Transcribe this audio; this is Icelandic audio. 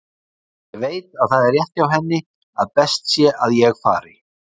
Ég veit að það er rétt hjá henni að best sé að ég fari.